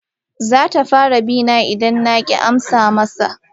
Zata fara bina idan na ki amsa masa.